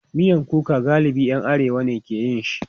Miyan kuka galibi ‘yan arewa ne ke yin shi.